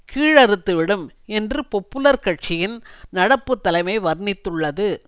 கீழறுத்துவிடும் என்று பொப்புலர் கட்சியின் நடப்பு தலைமை வர்ணித்துள்ளது